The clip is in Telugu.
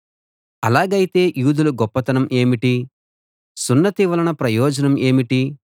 అలాగైతే యూదుల గొప్పతనం ఏమిటి సున్నతి వలన ప్రయోజనం ఏమిటి